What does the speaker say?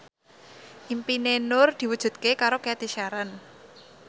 impine Nur diwujudke karo Cathy Sharon